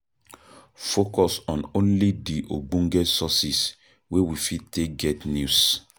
Focus on only di ogbonge sources wey we fit take get news